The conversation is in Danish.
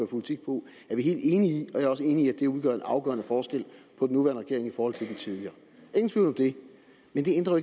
politik på er vi helt enige i og jeg er også enig i at det udgør en afgørende forskel på den nuværende regering i forhold til den tidligere ingen tvivl om det men det ændrer